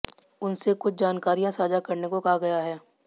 उनसे कुछ जानकारियां साझा करने को कहा गया है